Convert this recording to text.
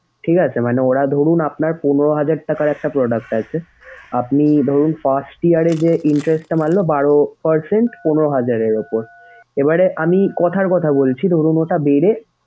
ঠিক আছে? মানে ওরা ধরুন আপনার পনেরো হাজার টাকার একটা product আছে। আপনি ধরুন first year এ যে interest টা মারলো বারো percent পনেরো হাজারের উপর। এবারে আমি কথার কথা বলছি, ধরুন ওটা বেড়ে,